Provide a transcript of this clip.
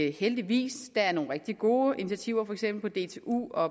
er heldigvis nogle rigtig gode initiativer på for eksempel dtu og